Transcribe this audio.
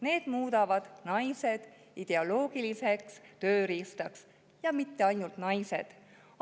Need muudavad naised ideoloogiliseks tööriistaks, ja mitte ainult naised.